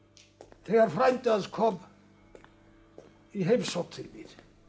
þegar frændi hans kom í heimsókn til mín